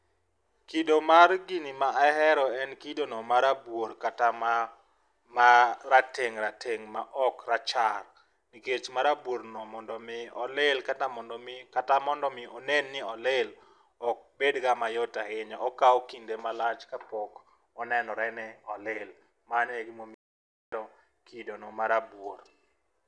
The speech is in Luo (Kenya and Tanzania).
Kido mar gini ma ahero en kido no marabuor kata ma rateng' rateng' ma ok rachar nikech marabuor no mondo mi olil kata mondo mi onen ni olil ok bedga mayot ahinya .Okawo kinde malach kapok onenore ni olil, mano e gima omiyo kido no marabuor.